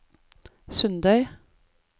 Sundøy